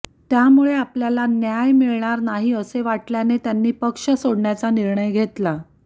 त्यामुळे आपल्याला न्याय मिळणार नाही असे वाटल्याने त्यांनी पक्ष सोडण्याचा निर्णय घेतला